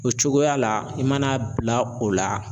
O cogoya la i mana bila o la